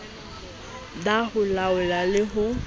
ba ho laola le ho